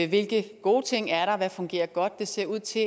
hvilke gode ting er der hvad fungerer godt det ser ud til